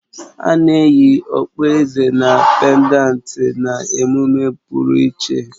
Ana eyi Okpueze na pèndanti na-emume pụrụ iche